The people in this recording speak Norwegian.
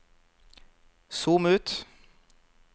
zoom ut